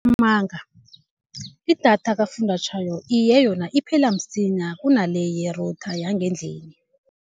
idatha kafunjathwako, iye yona iphela msinya kunale ye-router yangendlini.